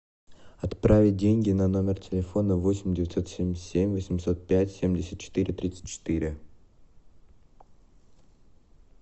отправить деньги на номер телефона восемь девятьсот семьдесят семь восемьсот пять семьдесят четыре тридцать четыре